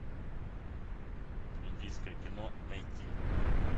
индийское кино найти